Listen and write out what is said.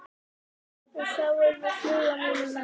Og þá er nú flug á mínum manni.